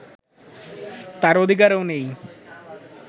তাঁর অধিকারও নেই